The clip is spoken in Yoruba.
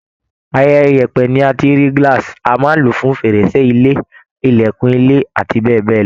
Ara yẹ̀pẹ̀ ni a ti ń rí glass, a máa ń lò í fún fèrèsé ilé, ìlẹ̀kùn ilé abbl.